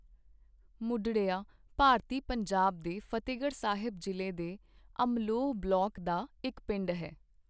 ਮੁਢੜੀਆਂ ਭਾਰਤੀ ਪੰਜਾਬ ਦੇ ਫ਼ਤਹਿਗੜ੍ਹ ਸਾਹਿਬ ਜ਼ਿਲ੍ਹੇ ਦੇ ਅਮਲੋਹ ਬਲਾਕ ਦਾ ਇੱਕ ਪਿੰਡ ਹੈ।